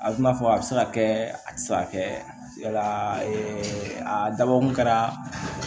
A bɛ n'a fɔ a bɛ se ka kɛ a tɛ se ka kɛ yala a dabɔkun kɛra